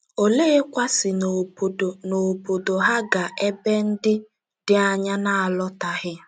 Olekwa si n’obodo n’obodo ha gaa ebe ndị dị anya n’alọtaghị?